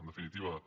en definitiva